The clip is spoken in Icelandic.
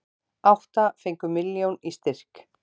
Átta fengu milljón í styrk